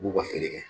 U b'u ka feere kɛ